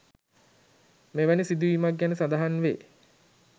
මෙවැනි සිදුවීමක් ගැන සඳහන් වේ.